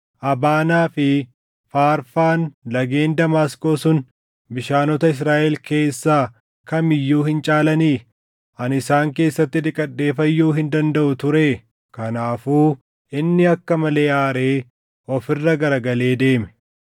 Abaanaa fi Faarfaan lageen Damaasqoo sun bishaanota Israaʼel keessaa kam iyyuu hin caalanii? Ani isaan keessatti dhiqadhee fayyuu hin dandaʼu turee?” Kanaafuu inni akka malee aaree of irra garagalee deeme.